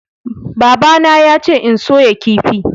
babana yace in soya kifi